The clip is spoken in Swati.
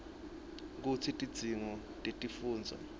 kutsi tidzingo tetifundza